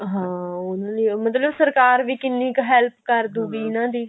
ਹਾਂ ਉਹਨਾ ਲਈ ਮਤਲਬ ਸਰਕਾਰ ਵੀ ਕਿੰਨੀ ਕੁ help ਕਰਦੂਗੀ ਇਹਨਾ ਦੀ